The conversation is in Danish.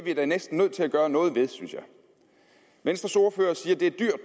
nødt til at gøre noget ved det venstres ordfører siger at